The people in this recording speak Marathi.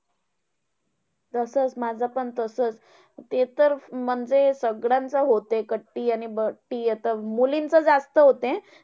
तसंच माझंपण तसंच ते तर म्हणजे सगळ्यांचं होतंय. कट्टी आणि बट्टी आता मुलींच जास्त होतंय.